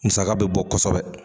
Musaka bɛ bɔ kosɛbɛ.